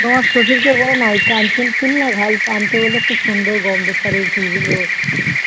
তোমার শশুর কে বোলো না কাঞ্চন ফুল আন্তে সুন্দর গন্ধ ছারে ফুল গুলো